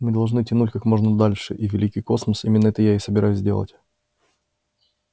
мы должны тянуть как можно дольше и великий космос именно это я и собираюсь делать